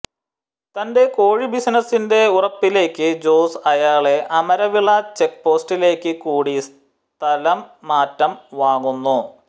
തന്റെ കോഴി ബിസിനസ്സിന്റെ ഉറപ്പിലേക്ക് ജോസ് അയാളെ അമരവിള ചെക്ക് പോസ്റ്റിലേക്ക് കൂടി സ്ഥലം മാറ്റം വാങ്ങുന്നു